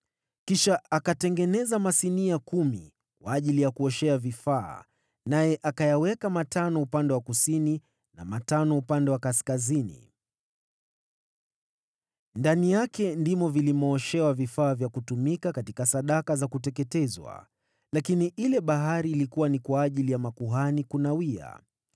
Kisha akatengeneza masinia kumi kwa ajili ya kuoshea vifaa, naye akayaweka matano upande wa kusini na matano upande wa kaskazini. Ndani yake ndimo walioshea vifaa vya kutumika katika sadaka za kuteketezwa, lakini ile Bahari ilikuwa ni kwa ajili ya makuhani kunawia.